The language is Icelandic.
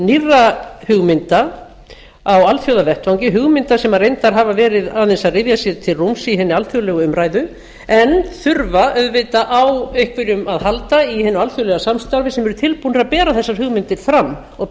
nýrra hugmynda á alþjóðavettvangi hugmynda sem reyndar hafa gerð aðeins að ryðja sér til rúms í hinni alþjóðlegu umræðu en þurfa auðvitað á einhverjum að halda í hinu alþjóðlega samstarfi sem eru tilbúnir að bera þessar hugmyndir fram og